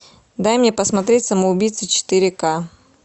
дай мне посмотреть самоубийца четыре ка